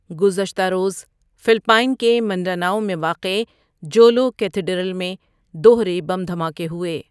گذشتہ روز فلپائن کے منڈاناؤ میں واقع جولو کیتھیڈرل میں دوہرے بم دھماکے ہوئے۔